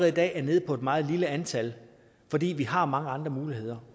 i dag nede på et meget lille antal fordi vi har mange andre muligheder